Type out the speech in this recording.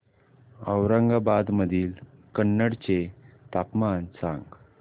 औरंगाबाद मधील कन्नड चे तापमान सांग